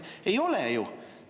Ei ole ju!